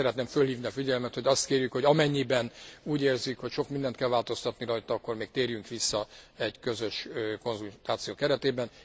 Szeretném fölhívni a figyelmet, hogy azt kérjük, hogy amennyiben úgy érzik, hogy sok mindent kell változtatni rajta, akkor még térjünk vissza egy közös konzultáció keretében.